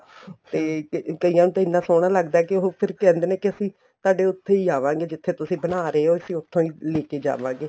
ਤੇ ਕਈਆਂ ਨੂੰ ਤਾਂ ਇਹਨਾ ਸੋਹਣਾ ਲੱਗਦਾ ਏ ਕੇ ਫ਼ਿਰ ਕਹਿੰਦੇ ਨੇ ਕੇ ਅਸੀਂ ਤੁਹਾਡੇ ਉੱਥੇ ਹੀ ਆਵਾਗੇ ਜਿੱਥੇ ਤੁਸੀਂ ਬਣਾ ਰਹੇ ਹੋ ਅਸੀਂ ਉੱਥੋ ਹੀ ਲੈਕੇ ਜਾਵਾਗੇ